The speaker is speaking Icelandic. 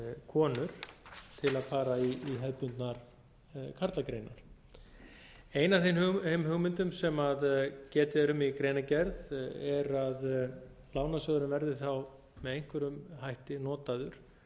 konur til að fara í hefðbundnar karlagreinar ein af þeim hugmyndum sem getið er um í greinargerð er að lánasjóðurinn verði þá með einhverjum hætti notaður